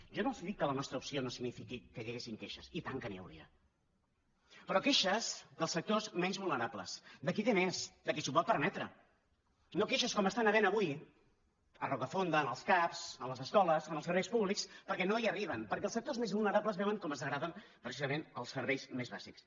jo no els dic que la nostra opció no signifiqui que hi haguessin queixes i tant que n’hi hauria però queixes dels sectors menys vulnerables de qui té més de qui s’ho pot permetre no queixes com estan havent hi avui a rocafonda en els cap en les escoles en els serveis públics perquè no hi arriben perquè els sectors més vulnerables veuen com es degraden precisament els serveis més bàsics